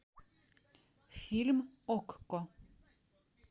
фильм окко